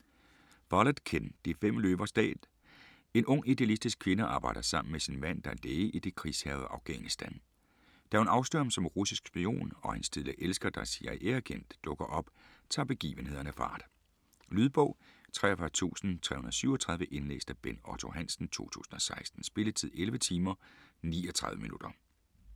Follett, Ken: De fem løvers dal En ung idealistisk kvinde arbejder sammen med sin mand, der er læge, i det krigshærgede Afghanistan. Da hun afslører ham som russisk spion, og hendes tidligere elsker, der er CIA-agent, dukker op, tager begivenhederne fart. Lydbog 43337 Indlæst af Bent Otto Hansen, 2016. Spilletid: 11 timer, 39 minutter.